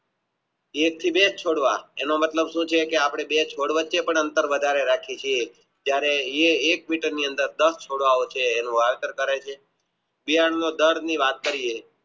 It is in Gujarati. એક થી બેજ છોડવા તેનો મતલબ શું છે કે આપણે અંતર વધારે રાખીયે છીએ જયારે એ એક મીટર ની અંદર છોડ્વાઓબ છે એનું અંતર કરે છે